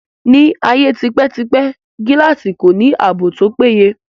Ní ayé tipẹ́ tipẹ́, gíláàsì kò ní ààbò tó péye